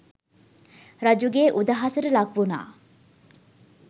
රජුගේ උදහසට ලක්වුණා.